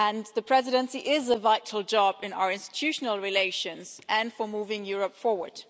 The Presidency is a vital job in our institutional relations and for moving Europe forward.